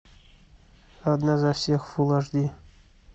одна за всех фул аш ди